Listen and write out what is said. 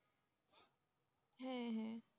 হ্যাঁ হ্যাঁ